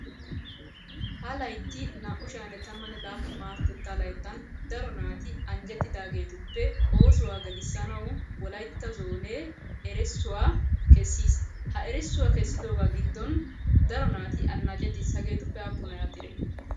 Ha layitti naa"u sha"anne tammanne laappun maarotettaa layittan daro naati anjjettidaageetuppe oosuwaa gelissanawu wolayitta zoonee erissuwa kessis. Ha erissuwa keessidoogaa giddon daro naati annacettis. Ha hageetuppe aappunay aadhdhidee?